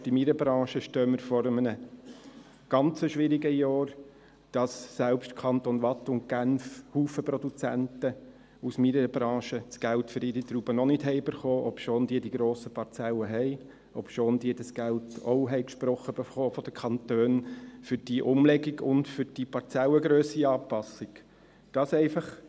Selbst in meiner Branche stehen wir vor einem ganz schwierigen Jahr, sodass selbst in den Kantonen Waadt und Genf viele Produzenten aus meiner Branche das Geld für ihre Trauben noch nicht erhalten haben, obschon sie die grossen Parzellen haben, obschon sie dieses Geld für die Umlegung und die Parzellengrössenanpassung von den Kantonen auch zugesprochen erhielten.